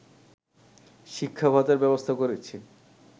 শিক্ষা ভাতার ব্যবস্থা করেছি